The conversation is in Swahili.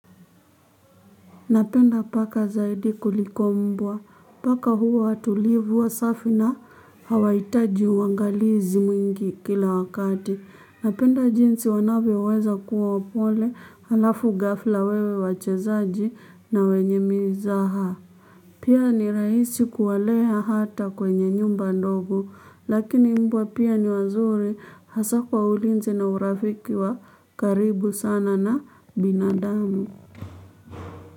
Napenda paka zaidi kuliko mbwa. Paka huwa watulivu wasafi na hawaitaji uangalizi mwingi kila wakati. Napenda jinsi wanavyoweza kuwa wapole halafu ghafla wawe wachezaji na wenye mizaha. Pia ni rahisi kuwalea hata kwenye nyumba ndogo. Lakini mbwa pia ni wazuri hasa kwa ulinzi na urafiki wa karibu sana na binadamu.